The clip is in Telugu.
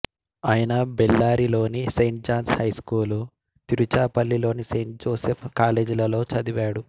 ఆయన బెల్లారీ లోని సెయింట్ జాన్స్ హైస్కూలు తిరుచురాపల్లి లోని సెయింట్ జోసెఫ్ కాలేజీలలో చదివాడు